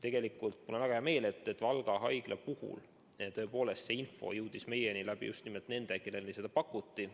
Tegelikult mul on väga hea meel, et Valga Haigla puhul see info jõudis meieni just nimelt tänu nendele, kellele seda pakuti.